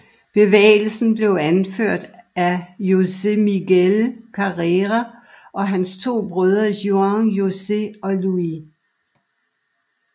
Bevægelsen blev anført af José Miguel Carrera og hans to brødre Juan José og Luis